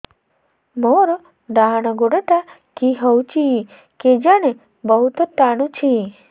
ମୋର୍ ଡାହାଣ୍ ଗୋଡ଼ଟା କି ହଉଚି କେଜାଣେ ବହୁତ୍ ଟାଣୁଛି